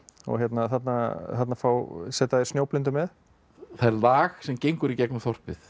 þarna þarna setja þeir Snjóblindu með það er lag sem gengur í gegnum þorpið